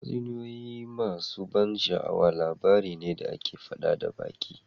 Tatsuniyoyi masu ban sha'awa labarai ne da ake faɗa da baki